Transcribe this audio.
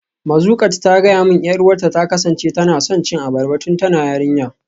Mazuqat ta gaya min 'yar uwarta ta kasance tana son cin abarba tun tana yarinya.